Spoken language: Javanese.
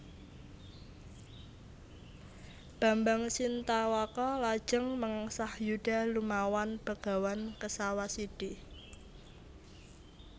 Bambang Sintawaka lajeng mengsah yuda lumawan Begawan Kesawasidhi